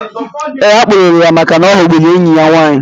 Eé, akpụrụrụ ya màkà na oghọgbụrụ enyi ya nwaanyị